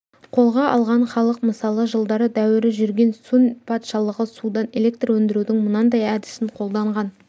қолға алған халық мысалы жылдары дәуірі жүрген сун патшалығы судан электр өндірудің мынандай әдісін қолданған